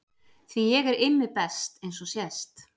Því ég er Immi best eins og sést.